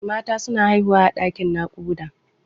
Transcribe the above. Mata suna haihuwa a ɗaƙin naƙuda.